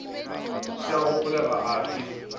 se a gopolega a fe